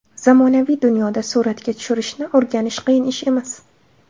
Zamonaviy dunyoda suratga tushirishni o‘rganish qiyin ish emas.